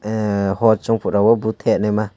hot chong pora o bot kenei ma.